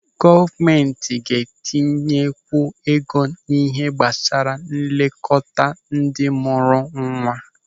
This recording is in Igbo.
Gọọmenti ga-etinyekwu ego n'ihe gbasara nlekọta ndị mụrụ nwa.